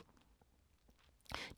DR2